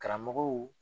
Karamɔgɔw